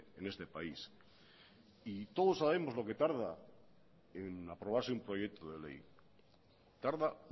en este país y todos sabemos lo que tarda en aprobarse un proyecto de ley tarda